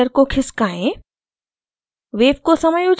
आवृत्ति slider को खिसकाएँ